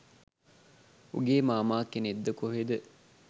උගේ මාමා කෙනෙක්ද කොහෙද